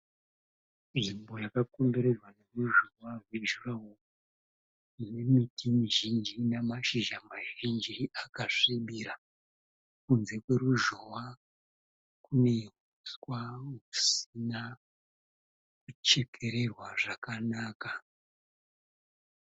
Nzvimbo yakakomberedzwa neruzhowa rwe (durawall). Ine miti mizhinji ine mashizha mazhinji akasvibira. Kunze kwaruzhowa kune uswa husina kuchekererwa zvakanaka.